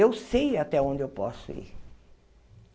Eu sei até onde eu posso ir.